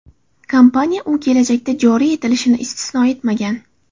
Kompaniya u kelajakda joriy etilishini istisno etmagan.